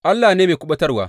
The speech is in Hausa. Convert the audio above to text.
Allah ne mai kuɓutarwa.